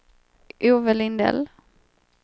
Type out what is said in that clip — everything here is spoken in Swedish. Ove Lindell